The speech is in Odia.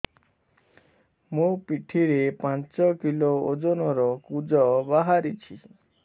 ମୋ ପିଠି ରେ ପାଞ୍ଚ କିଲୋ ଓଜନ ର କୁଜ ବାହାରିଛି